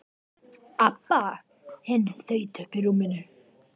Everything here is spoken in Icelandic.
Abba hin þaut upp úr rúminu.